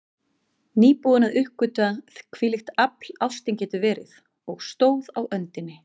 Nýbúin að uppgötva hvílíkt afl ástin getur verið, og stóð á öndinni.